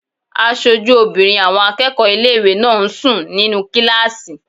Aṣojú obìnrin àwọn akẹ́kọ̀ọ́ ilé-ìwé náà ń sùn nínu kílásì